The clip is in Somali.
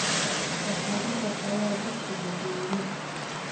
Waxaan u shaqeeyaa dugsi dadweyne